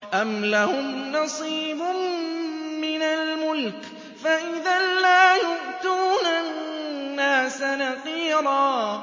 أَمْ لَهُمْ نَصِيبٌ مِّنَ الْمُلْكِ فَإِذًا لَّا يُؤْتُونَ النَّاسَ نَقِيرًا